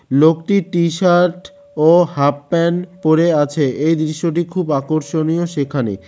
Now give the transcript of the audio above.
লোকটি টিশার্ট ও হাফপ্যান্ট পরে আছে এই দৃশ্যটি খুব আকর্ষণীয় সেখানে।